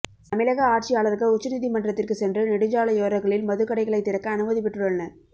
தமிழக ஆட்சியாளர்கள் உச்சநீதிமன்றத்திற்கு சென்று நெடுஞ்சாலையோரங்களில் மதுக்கடைகளை திறக்க அனுமதி பெற்றுள்ளனர்